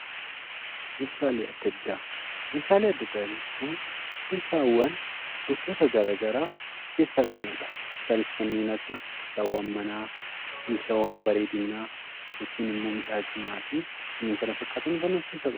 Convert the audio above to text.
meeshaalee adda addaa, meeshaalee adda addaa jechuun meeshaawwan gosoota garagaraa of keessaa qabudha. Isaaniis kanneen akka meeshaawwan manaa, meeshaawwan bareedinaa yookiin immoo miidhaginaa fi kanneen kana fakkaatan kan of keessaa qabudha.